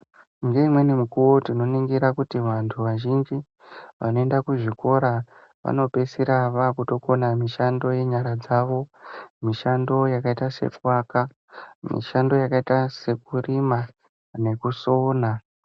Ngeimweni mikuwo tinoningira kuti vanthu vazhinji, vanoenda kuzvikora, vanopeisira vaakutokona mishando yenyara dzavo, mishando yakaita sekuvaka, mishando yakaita sekurima ,nekusona.